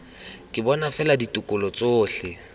ke bona fela dikolo tsotlhe